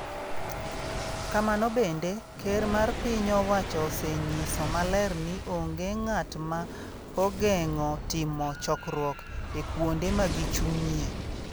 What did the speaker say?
Kamano bende, Ker mar Piny owacho osenyiso maler ni onge ng’at ma ogeng’o timo chokruok e kuonde ma gichung’ie.